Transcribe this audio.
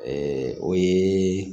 o ye